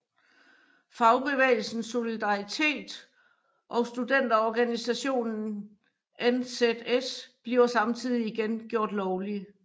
Fagbevægelsen Solidaritet og studenterorganisationen NZS bliver samtidig igen gjort lovlige